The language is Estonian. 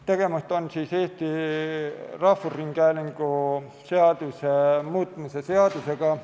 Tegemist on Eesti Rahvusringhäälingu seaduse muutmise seadusega.